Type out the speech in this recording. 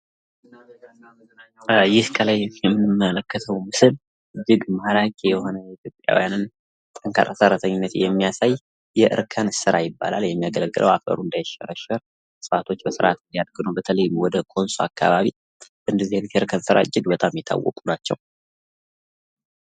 ይህ ከላይ የምንመለከተው የሆነ ምስል የኢትዮጵያውያንን ጠንካራ ሰራተኝነትን የሚያሳይ የእርከን ስራ ይባላል። የሚያገለግለው አፈሩ እንዳይሸረሸር ዛፎች በስራቱ እንዲያግዱት በተለየ ኮንሶ አካባቢ በእርከን ስራ እጅግ የታወቁ ናቸው።